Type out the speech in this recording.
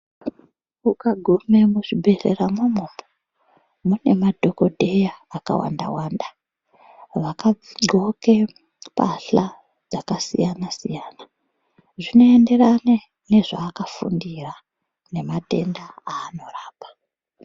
Ukagume muzvibhehleramwomwo mune madhokodheya akawandawanda vakadhloke mbahla dzakasiyanasiyana zvinoenderane nezvaakafundira nematenda anorapa.